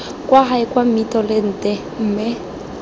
kwa gae kwa mmitolente mme